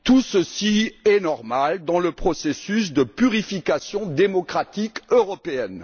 Tout cela est normal dans le processus de purification démocratique européenne.